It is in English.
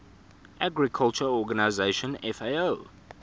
agriculture organization fao